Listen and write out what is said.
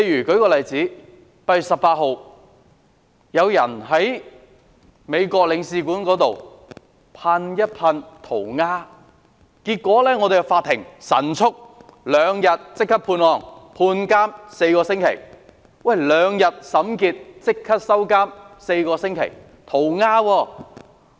舉例說 ，8 月18日，有人在美國領事館那裏塗鴉，結果法庭兩天內極速處理此案，犯事者被判監4星期。